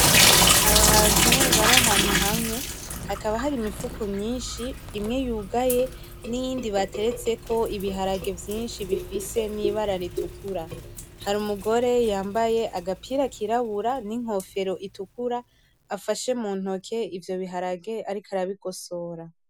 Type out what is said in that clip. Abantu barahantu hamwe hakaba hari imifuko myishi imwe yugaye n'iyindi bateretseko ibiharage vyishi bifise n’ibara r'itukura hari umugore yambaye agapira kirabura n'inkofero itukura afashe m'untoke ivyo bigarage ariko arabigosora.